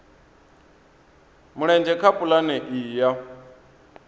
mulenzhe kha pulane iyi ya